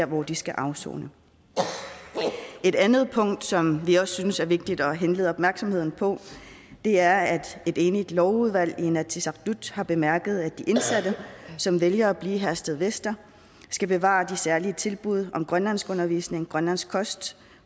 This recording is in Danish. hvor de skal afsone et andet punkt som vi også synes det er vigtigt at henlede opmærksomheden på er at et enigt lovudvalg i inatsisartut har bemærket at de indsatte som vælger at blive i herstedvester skal bevare de særlige tilbud om grønlandskundervisning grønlandsk kost